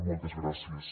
moltes gràcies